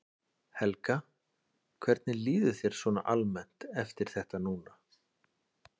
Helga: Hvernig líður þér svona almennt eftir þetta núna?